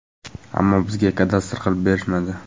Ammo bizga kadastr qilib berishmadi”.